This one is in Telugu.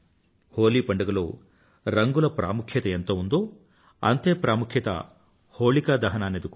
హోలీ పండుగలో రంగుల ప్రాముఖ్యత ఎంత ఉందో అంతే ప్రాముఖ్యత హోళికా దహనానిది కూడా